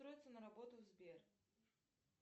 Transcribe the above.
устроиться на работу в сбер